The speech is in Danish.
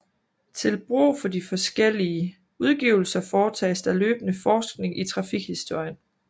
Til brug for de forskellige udgivelser foretages der løbende forskning i trafikhistorien